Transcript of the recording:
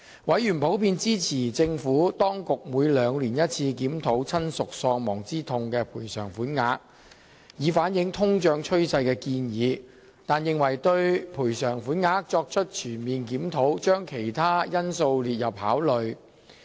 委員普遍支持政府當局建議每兩年檢討一次檢討親屬喪亡之痛賠償款額，以反映通脹趨勢，但認為當局應就賠償款額作出全面檢討，將其他因素納入考慮之列。